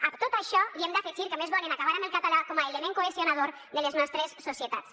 a tot això li hem d’afegir que a més volen acabar amb el català com a element cohesionador de les nostres societats